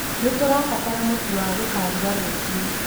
Nĩtũrabatara mũtu wa gũkaruga rũciũ